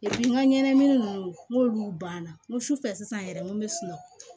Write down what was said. n ka ɲɛnamini ninnu n'olu banna n ko sufɛ sisan yɛrɛ n ko n bɛ sunɔgɔ